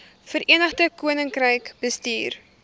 verenigde koninkryk bestuur